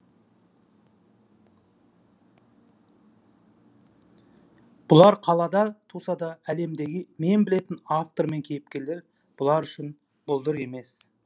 бұлар қалада туса да әлемдегі мен білетін автор мен кейіпкерлер бұлар үшін бұлдыр елес